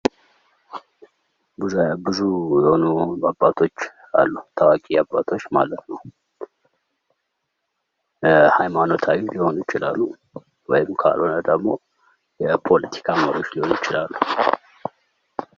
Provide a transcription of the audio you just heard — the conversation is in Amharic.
ብዙ የሆኑ አባቶች አሉ ታዋቂ አባቶች ማለት ነው ። ሀይማኖታዊም ሊሆኑ ይችላሉ ወይም ካልሆነ ደግሞ የፖለቲካ መሪዎች ሊሆኑ ይችላሉ ።